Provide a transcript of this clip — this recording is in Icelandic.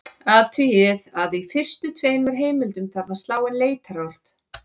Athugið að í fyrstu tveimur heimildunum þarf að slá inn leitarorð.